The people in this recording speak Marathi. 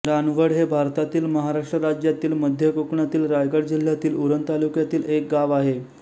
रानवड हे भारतातील महाराष्ट्र राज्यातील मध्य कोकणातील रायगड जिल्ह्यातील उरण तालुक्यातील एक गाव आहे